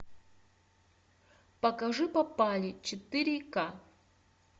покажи попали четыре ка